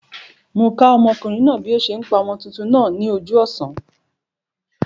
Mó okùnrin náà bí o se n pa ọmọ tuntun náà ní ojú òsán